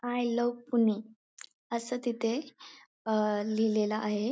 I love Pune अस तिथे अ लिहिलेल आहे.